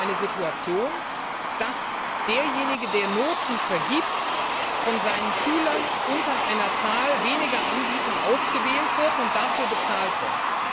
Eigentlich eine Situation, in der derjenige, der Noten vergibt, von seinen Schülern unter einer Zahl weniger Anbieter ausgewählt und dafür bezahlt wird.